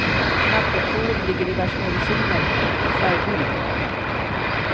På nattduksbordet ligger diverse mediciner och en färgbild.